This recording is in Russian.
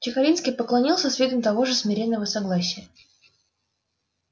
чекалинский поклонился с видом того же смиренного согласия